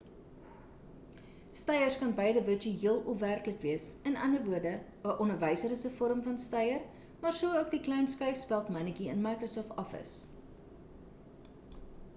steiers kan beide virtueel of werklik wees in ander woorde 'n onderwyser is 'n vorm van steier maar so ook die klein skuifspeld mannetjie in microsoft office